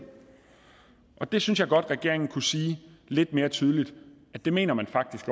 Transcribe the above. jeg synes godt at regeringen kunne sige lidt mere tydeligt at det mener man faktisk